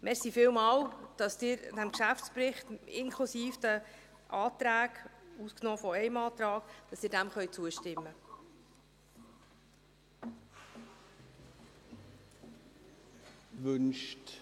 Vielen Dank, dass Sie diesem Geschäftsbericht, inklusive der Anträge, ausgenommen eines Antrags, zustimmen können.